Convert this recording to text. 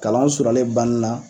Kalanw surnyalen banni na